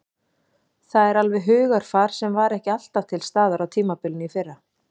Það er alveg hugarfar sem var ekki alltaf til staðar á tímabilinu í fyrra.